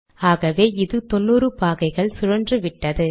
ஆகவே இது தொன்னூறு பாகைகள் சுழன்றுவிட்டது